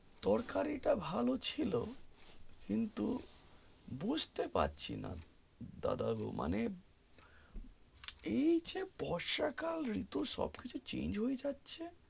তরকারি টা ভালো ছিল কিন্তু বুজতে পারছি না দাদার মানেএই যে বর্ষা কাল এমনিতেই সব কিছু change যাচ্ছে